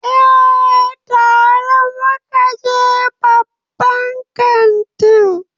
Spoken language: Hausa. Eh, tare muka je babban kantin